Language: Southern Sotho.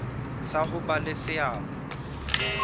sa ho ba le seabo